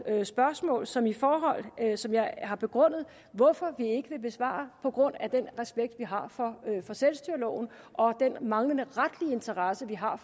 spørgsmål som jeg som jeg har begrundet hvorfor vi ikke vil besvare på grund af den respekt vi har for selvstyreloven og den manglende retlige interesse vi har